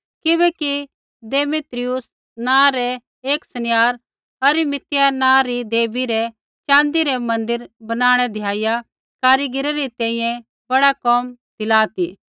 किबैकि देमेत्रियुस नाँ रा एक सनियार अरितमिस नाँ री देवी रै च़ाँदी रै मन्दिर बणाणै द्याइया कारीगरै री तैंईंयैं बड़ा कोम दिला ती